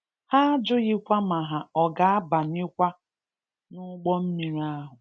Ha ajụghị kwa ma ha ọ ga a banyekwa n'ụgbọ mmiri ahụ.